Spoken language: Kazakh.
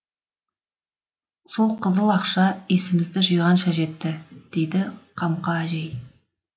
сол қызыл ақша есімізді жиғанша жетті дейді қамқа әжей